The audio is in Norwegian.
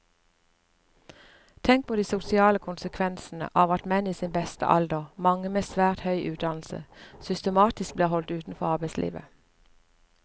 Tenk på de sosiale konsekvensene av at menn i sin beste alder, mange med svært høy utdannelse, systematisk blir holdt utenfor arbeidslivet.